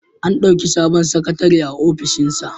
An ɗauki sabon sakatare a ofishinsa.